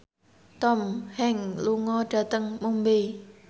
Tom Hanks lunga dhateng Mumbai